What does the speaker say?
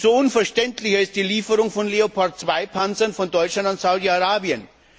Umso unverständlicher ist die Lieferung von Leopard II Panzern von Deutschland an Saudi Arabien.